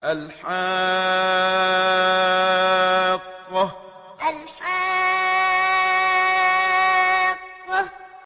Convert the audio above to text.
الْحَاقَّةُ الْحَاقَّةُ